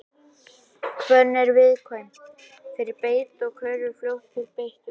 hvönn er viðkvæm fyrir beit og hverfur fljótt úr beittu landi